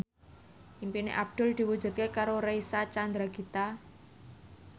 impine Abdul diwujudke karo Reysa Chandragitta